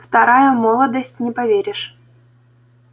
вторая молодость не поверишь